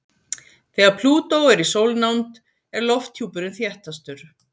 Þegar Plútó er í sólnánd er lofthjúpurinn þéttastur.